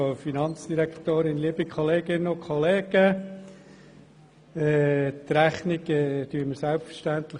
Die Rechnung genehmigen wir selbstverständlich.